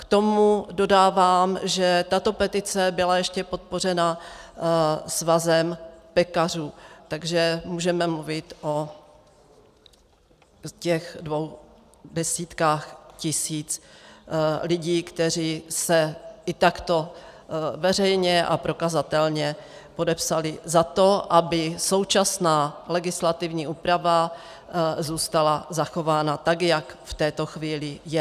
K tomu dodávám, že tato petice byla ještě podpořena Svazem pekařů, takže můžeme mluvit o těch dvou desítkách tisíc lidí, kteří se i takto veřejně a prokazatelně podepsali za to, aby současná legislativní úprava zůstala zachována tak, jak v této chvíli je.